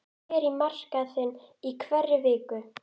Hann fer á markaðinn í hverri viku.